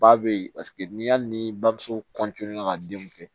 Ba bɛ yen paseke ni hali ni bamuso ka denw kɛ